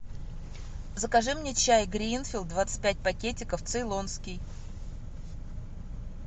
закажи мне чай гринфилд двадцать пять пакетиков цейлонский